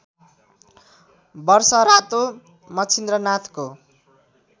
वर्ष रातो मच्छिन्द्रनाथको